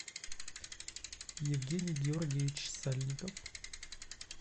евгений георгиевич сальников